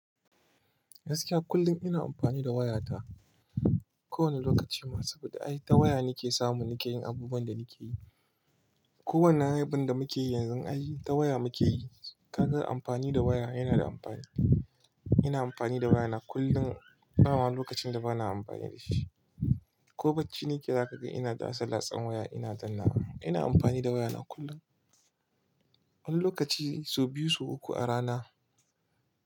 Gaskiya kullum ina amfani da wayata. Ko wani lokaci ma saboda ai ta waya nike samu nike yin abubuwan da nike yi. Ko wannan abun da muke yi yanzu ai ta waya muke yi. Ka ga amfani da waya yana da amfani. Ina amfani da waya na kullum. Ba ma lokacin da bana amfani da shi. Ko bacci nike zaka ga ina da latsa-latsan waya ina dannawa. Ina amfani da waya na kullum. Wani lokaci sau biyu, sau uku a rana.